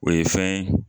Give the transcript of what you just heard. O ye fɛn ye